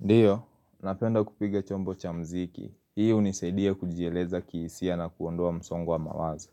Ndiyo, napenda kupiga chombo cha mziki. Hii uniseidia kujieleza kihisia na kuondoa msongowa mawazo.